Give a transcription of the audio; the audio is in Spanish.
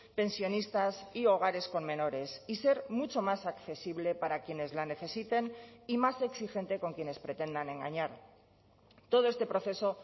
pensionistas y hogares con menores y ser mucho más accesible para quienes la necesiten y más exigente con quienes pretendan engañar todo este proceso